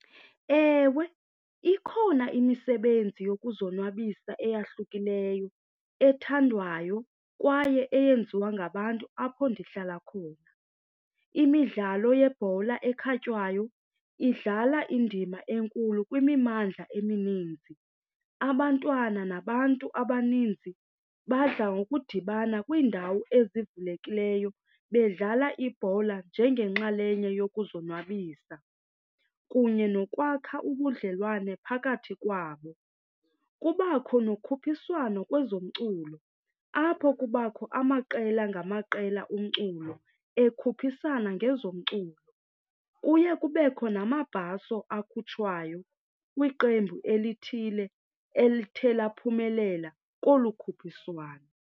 Ewe, ikhona imisebenzi yokuzonwabisa eyahlukileyo ethandwayo kwaye eyenziwa ngabantu apho ndihlala khona. Imidlalo yebhola ekhatywayo idlala indima enkulu kwimimandla emininzi. Abantwana nabantu abaninzi badla ngokudibana kwiindawo ezivulekileyo bedlala ibhola njengenxalenye yokuzonwabisa kunye nokwakha ubudlelwane phakathi kwabo. Kubakho nokhuphiswano kwezomculo apho kubakho amaqela ngamaqela umculo ekhuphisana ngezomculo, kuye kubekho namabhaso akhutshwayo kwiqembu elithile elithe laphumelela kolu khuphiswano.